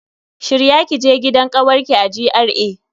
Shirya kije gidan kawarki a GRA.